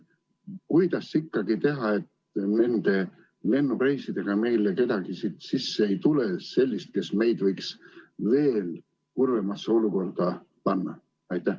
Kuidas teha nii, et nende lennureisidega ei tuleks meile sisse kedagi sellist, kes meid võiks veel kurvemasse olukorda panna?